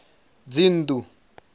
dzinnḓu